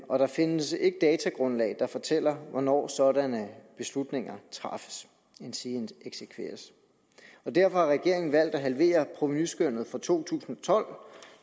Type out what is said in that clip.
og der findes ikke datagrundlag der fortæller hvornår sådanne beslutninger træffes endsige eksekveres derfor har regeringen valgt at halvere provenuskønnet for to tusind og tolv